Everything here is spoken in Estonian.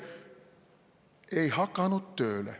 Ei hakanud tööle.